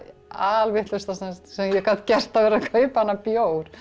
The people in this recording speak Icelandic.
alvitlausasta sem ég gat gert að vera að kaupa þennan bjór